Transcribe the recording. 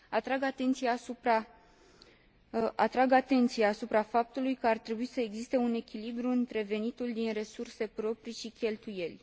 Atrag atenția asupra faptului că ar trebui să existe un echilibru între venitul din resurse proprii și cheltuieli.